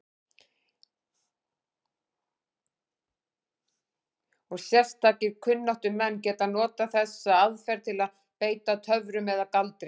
Og sérstakir kunnáttumenn geta notað þessa aðferð til að beita töfrum eða galdri.